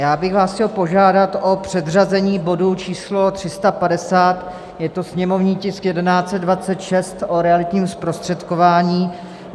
Já bych vás chtěl požádat o předřazení bodu číslo 350, je to sněmovní tisk 1126, o realitním zprostředkování.